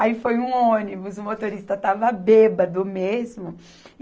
Aí foi um ônibus, o motorista estava bêbado mesmo.